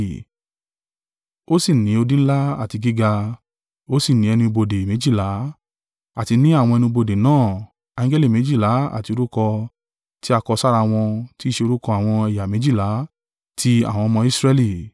Ó sì ní odi ńlá àti gíga, ó sì ni ẹnu ibodè méjìlá, àti ní àwọn ẹnu ibodè náà angẹli méjìlá àti orúkọ tí a kọ sára wọn tí i ṣe orúkọ àwọn ẹ̀yà méjìlá tí àwọn ọmọ Israẹli.